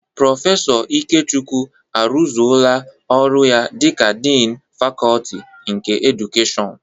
Prọfesọ Ikechukwu arụzoola ọrụ ya dịka diini fakọọti nke edukeshọn.